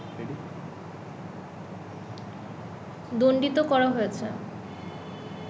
দণ্ডিত করা হয়েছে